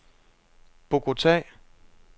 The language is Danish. Bogota